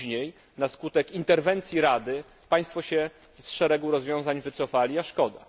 Później na skutek interwencji Rady Państwo się z szeregu rozwiązań wycofali, a szkoda.